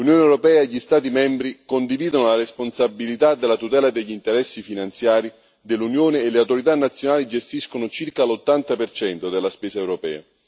L'Unione europea e gli Stati membri condividono la responsabilità della tutela degli interessi finanziari dell'Unione e le autorità nazionali gestiscono circa l'80 per cento della spesa europea.